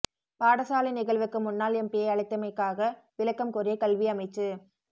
பாடசாலை நிகழ்வுக்கு முன்னாள் எம்பியை அழைத்தமைகாக விளக்கம் கோரிய கல்வி அமைச்சு